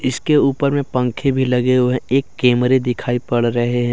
इसके ऊपर में पंखे भी लगे हुए है एक कैमरे दिखाई पड़ रहे हैं।